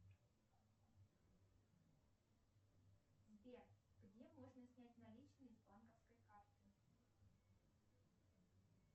сбер где можно снять наличные с банковской карты